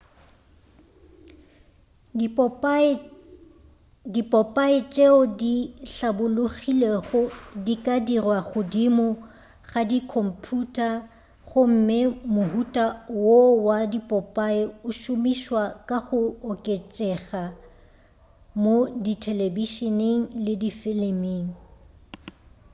dipopae tšeo di hlabologilego di ka dirwa godimo ga di khomphuta gomme mohuta wo wa dipopae o šomišwa ka go oketšega mo thelebišeneng le difiliming